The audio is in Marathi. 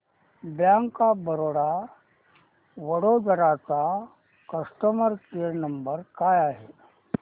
बँक ऑफ बरोडा वडोदरा चा कस्टमर केअर नंबर काय आहे